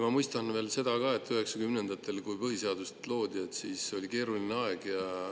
Ma mõistan seda, et 1990‑ndatel, kui põhiseadust loodi, oli keeruline aeg.